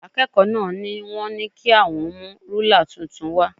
Akẹ́kọ̀ọ́ náà ni wọ́n ní kí àwọn mú rúlà tuntun wá